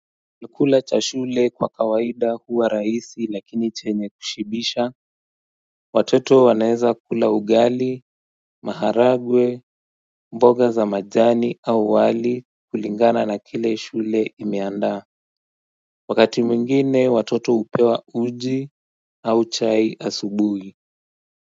Nilikula cha shule kwa kawaida huwa rahisi lakini chenye kushibisha Watoto wanaeza kula ugali, maharagwe, mboga za majani au wali kulingana na kile shule imeandaa Wakati mwingine watoto upewa uji au chai asubuhi.